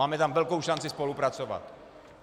Máme tam velkou šanci spolupracovat.